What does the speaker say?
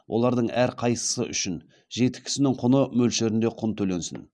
олардың әрқайсысы үшін жеті кісінің құны мөлшерінде құн төленсін